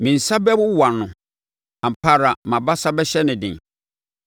Me nsa bɛwowa no; ampa ara mʼabasa bɛhyɛ no den.